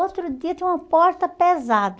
Outro dia tinha uma porta pesada.